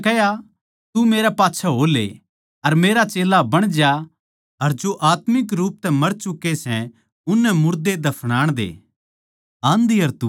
यीशु नै उसतै कह्या तू मेरै साथ हो ले अर मेरा चेल्ला बण जा अर जो आत्मिक रूप तै मर चुके सै उननै मुर्दे दफनान दे